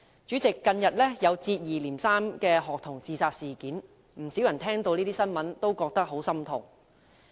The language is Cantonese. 主席，近日接二連三發生學童自殺事件，不少人聽到這些新聞也感到十分心痛。